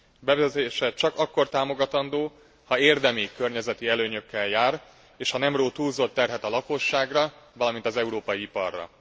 Bevezetése csak akkor támogatandó, ha érdemi környezeti előnyökkel jár, és ha nem ró túlzott terhet a lakosságra, valamint az európai iparra.